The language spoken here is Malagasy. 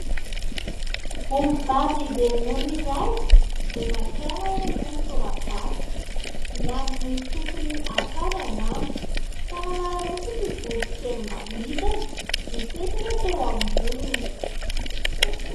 Ombivavy be ronono iray no maka aina eny ambony torapasika. Miandry ilay tompony haka azy angamba ka nanararaotra ity voron-kely manidina nipetraka teo amboniny.